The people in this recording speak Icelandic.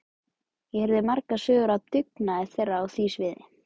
Ég heyrði margar sögur af dugnaði þeirra á því sviði.